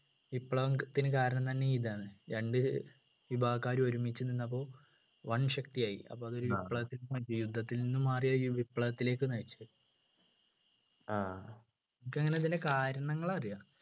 വിപ്ലവം ത്തിന് കാരണം തന്നെ ഇതാണ് രണ്ട് വിഭാഗക്കാര് ഒരുമിച്ച് നിന്നപ്പോൾ വൻ ശക്തിയായി അപ്പൊ അതൊരു യുദ്ധത്തിൽനിന്നു മാറിയ വിപ്ലവത്തിലേക്ക് നയിച്ചത് എനിക്കങ്ങനതിൻ്റെ ഇങ്ങനെ കാരണങ്ങൾ അറിയാ